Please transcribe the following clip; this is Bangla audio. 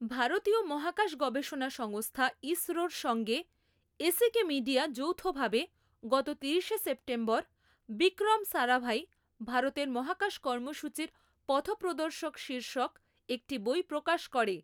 ভারতীয় মহাকাশ গবেষণা সংস্থা ইসরোর সঙ্গে এসিকে মিডিয়া যৌথভাবে গত তিরিশে সেপ্টেম্বর বিক্রম সারাভাই ভারতের মহাকাশ কর্মসূচির পথপ্রদর্শক শীর্ষক একটি বই প্রকাশ করে।